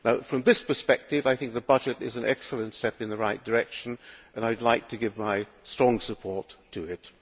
From this perspective, I think the budget is an excellent step in the right direction, and I would like to give my strong support to it.